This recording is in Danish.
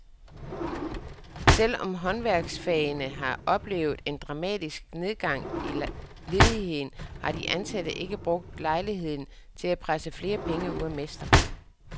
Selv om håndværksfagene har oplevet en dramatisk nedgang i ledigheden, har de ansatte ikke brugt lejligheden til at presse flere penge ud af mester.